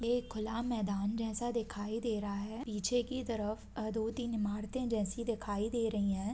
एक खुला मैदान जैसा दिखाई दे रहा है पीछे की तरफ अ दो-तीन इमारते जैसी दिखाई दे रही है।